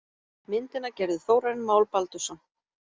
Myndina gerði Þórarinn Már Baldursson.